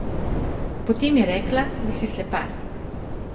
Potem je rekla, da si slepar.